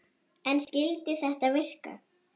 En skyldi þetta virka?